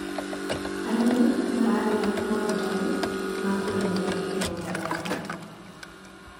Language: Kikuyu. arĩmi maragia morutanĩ ma kũrĩmira mĩgũnda yao